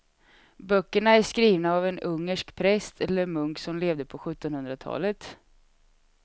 Böckerna är skrivna av en ungersk präst eller munk som levde på sjuttonhundratalet.